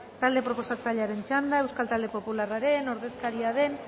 talde proposatzailearen txanda euskal talde popularraren ordezkaria den